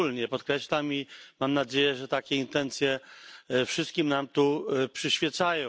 Podkreślam wspólnie. I mam nadzieję, że takie intencje wszystkim nam tu przyświecają.